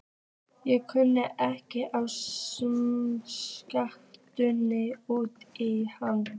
Ég kunni ekki að skammast út í hana.